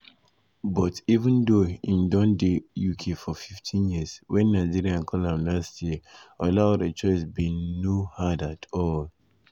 but even though im don dey uk for 15 years wen nigeria call am last year olaore choice bin no um hard at all.